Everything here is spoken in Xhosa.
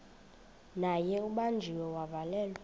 naye ubanjiwe wavalelwa